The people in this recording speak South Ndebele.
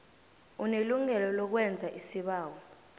unelungelo lokwenza isibawo